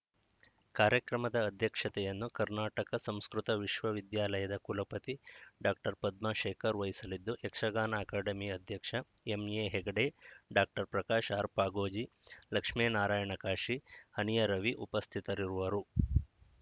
ಕಾರ್ಯಕ್ರಮದ ಅಧ್ಯಕ್ಷತೆಯನ್ನು ಕರ್ನಾಟಕ ಸಂಸ್ಕೃತ ವಿಶ್ವವಿದ್ಯಾಲಯದ ಕುಲಪತಿ ಡಾಕ್ಟರ್ ಪದ್ಮಾಶೇಖರ್‌ ವಹಿಸಲಿದ್ದು ಯಕ್ಷಗಾನ ಅಕಾಡೆಮಿ ಅಧ್ಯಕ್ಷ ಎಂಎಹೆಗಡೆ ಡಾಕ್ಟರ್ ಪ್ರಕಾಶ್‌ ಆರ್‌ ಪಾಗೋಜಿ ಲಕ್ಷ್ಮೇನಾರಾಯಣ ಕಾಶಿ ಹನಿಯ ರವಿ ಉಪಸ್ಥಿತರಿರುವರು